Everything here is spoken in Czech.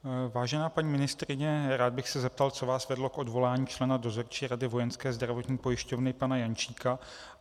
Vážená paní ministryně, rád bych se zeptal, co vás vedlo k odvolání člena Dozorčí rady Vojenské zdravotní pojišťovny pana Jančíka.